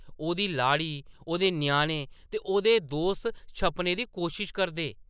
ओह्‌‌‌दी लाड़ी , ओह्‌‌‌दे ञ्याणें ते ओह्‌‌‌दे दोस्त छप्पने दी कोशश करदे।